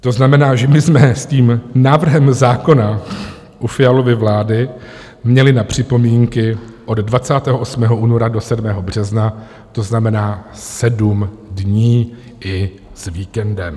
To znamená, že my jsme s tím návrhem zákona u Fialovy vlády měli na připomínky od 28. února do 7. března, to znamená sedm dní i s víkendem.